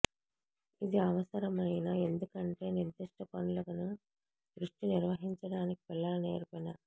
ఇది అవసరమైన ఎందుకంటే నిర్దిష్ట పనులను దృష్టి నిర్వహించడానికి పిల్లల నేర్పిన